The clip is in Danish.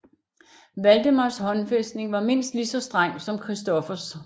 Valdemars håndfæstning var mindst lige så streng som Christoffers